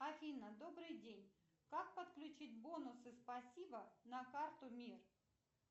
афина добрый день как подключить бонусы спасибо на карту мир